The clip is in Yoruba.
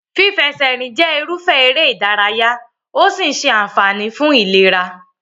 Fífẹsẹ̀rìn jẹ́ irúfẹ́ eré-ìdárayá¸ ó sì ń ṣe àǹfààní fún ìlera.